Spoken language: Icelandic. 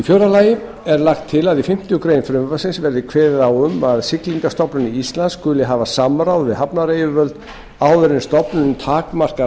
fjórða lagt er til að í fimmtu grein frumvarpsins verði kveðið á um að siglingastofnun íslands skuli hafa samráð við hafnaryfirvöld áður en stofnunin takmarkar